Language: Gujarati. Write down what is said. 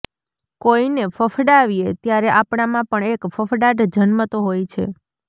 કોઈને ફફડાવીએ ત્યારે આપણામાં પણ એક ફફડાટ જન્મતો હોય છે